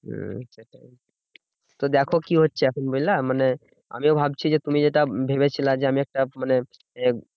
হম তো দেখো কি হচ্ছে এখন বুঝলা? মানে আমিও ভাবছি যে তুমি যেটা ভেবেছিলে যে, আমি একটা মানে